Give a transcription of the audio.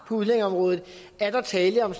på udlændingeområdet er der tale om